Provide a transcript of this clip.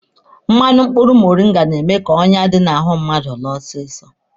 Mmanụ mkpụrụ moringa na-eme ka onyá dị n'ahụ mmadụ laa ọsịsọ.